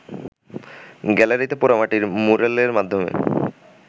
গ্যালারিতে পোড়ামাটির ম্যুরালের মাধ্যমে